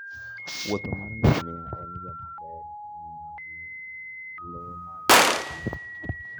wuoth mar ngamia en yo maber mar ng'iyo gi le mag thim.